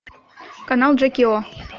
канал джеки о